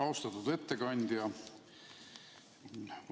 Austatud ettekandja!